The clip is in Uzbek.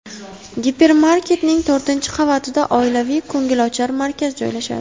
Gipermarketning to‘rtinchi qavatida oilaviy ko‘ngilochar markaz joylashadi.